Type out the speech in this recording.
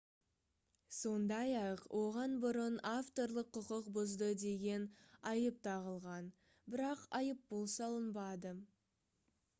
сондай-ақ оған бұрын авторлық құқық бұзды деген айып тағылған бірақ айыппұл салынбады